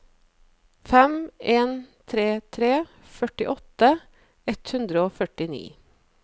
fem en tre tre førtiåtte ett hundre og førtini